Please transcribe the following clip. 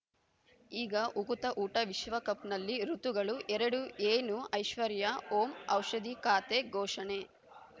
ಈಗ ಉಕುತ ಊಟ ವಿಶ್ವಕಪ್‌ನಲ್ಲಿ ಋತುಗಳು ಎರಡು ಏನು ಐಶ್ವರ್ಯಾ ಓಂ ಔಷಧಿ ಖಾತೆ ಘೋಷಣೆ